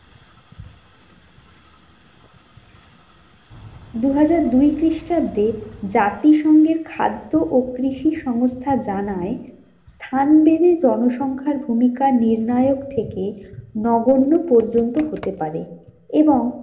দুহাজার দুই খ্রিস্টাব্দে জাতিসঙ্ঘের খাদ্য ও কৃষি সংস্থা জানায়, স্থান বেড়ে জনসংখ্যার ভূমিকা নির্ণায়ক থেকে নগন্য পর্যন্ত হতে পারে এবং